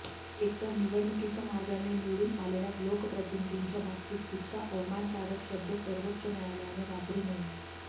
एकतर निवडणुकीच्या मार्गाने निवडून आलेल्या लोकप्रतिनिधींच्या बाबतीत इतका अवमानकारक शब्द सर्वोच्चन्यायलयाने वापरू नये